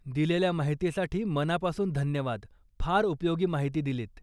दिलेल्या महितीसाठी मनापासून धन्यवाद, फार उपयोगी माहिती दिलीत.